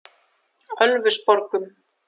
Ölfusborgum